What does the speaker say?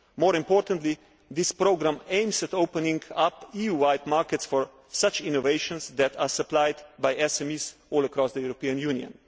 More importantly, this programme aims at opening up EU wide markets for such innovations that are supplied by SMEs all across the European Union.